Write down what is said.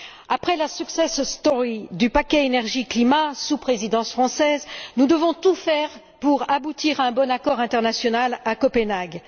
Après la success story du paquet énergie climat, sous la Présidence française, nous devons tout faire pour aboutir à un bon accord international à Copenhague.